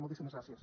moltíssimes gràcies